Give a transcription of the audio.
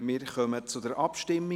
Wir kommen zur Abstimmung.